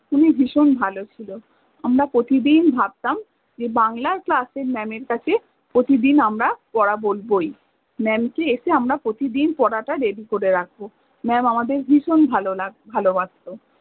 উনি ভিষণ ভালো ছিল আমরা প্রতিদিন ভাব্তাম যে বাংলার class এ mam এর কাছে প্রতিদিন আমরা পরা বলবই mam কে এসে আমরা প্রতিদিন পরাটা ready করে রাখব, mam আমাদের ভিষণ ভালো লাগ- ভালোবাস্ত